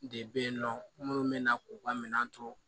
De bɛ yen nɔ minnu bɛ na k'u ka minɛn to